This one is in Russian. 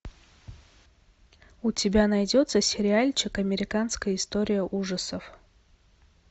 у тебя найдется сериальчик американская история ужасов